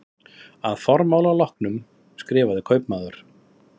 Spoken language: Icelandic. Að formála loknum skrifaði kaupmaður